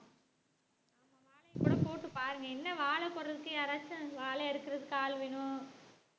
வாழையை கூட போட்டு பாருங்க என்ன வாழை போடுறதுக்கு யாராச்சும் வாழை அறுக்குறதுக்கு ஆள் வேணும்